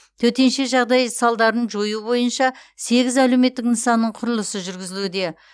төтенше жағдай салдарын жою бойынша сегіз әлеуметтік нысанның құрылысы жүргізілуде